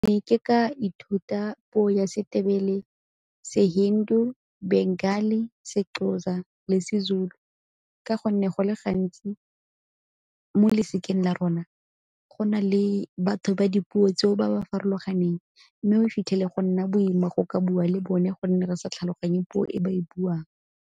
ke ka ithuta puo ya seTebele, se seXhosa le seZulu ka gonne go le gantsi mo losikeng la rona go na le batho ba dipuo tseo ba ba farologaneng, mme o fitlhele go nna boima go ka bua le bone gonne re sa tlhaloganye puo e ba e buang.